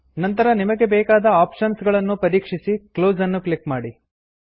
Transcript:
ನಂತರ ನಿಮಗೆ ಬೇಕಾದ ಆಪ್ಷನ್ಸ್ ಗಳನ್ನು ಪರೀಕ್ಷಿಸಿ ಕ್ಲೋಸ್ ಅನ್ನು ಕ್ಲಿಕ್ ಮಾಡಿ